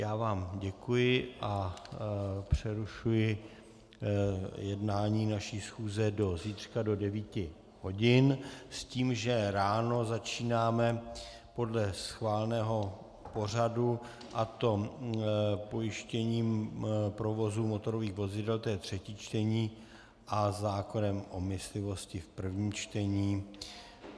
Já vám děkuji a přerušuji jednání naší schůze do zítřka do 9 hodin s tím, že ráno začínáme podle schváleného pořadu, a to pojištěním provozu motorových vozidel, to je třetí čtení, a zákonem o myslivosti v prvním čtení.